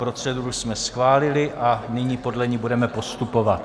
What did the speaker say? Proceduru jsme schválili a nyní podle ní budeme postupovat.